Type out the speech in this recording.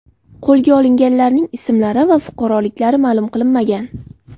Qo‘lga olinganlarning ismlari va fuqaroliklari ma’lum qilinmagan.